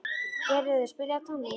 Geirröður, spilaðu tónlist.